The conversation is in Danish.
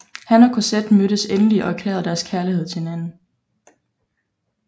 Han og Cosette mødes endelig og erklærer deres kærlighed til hinanden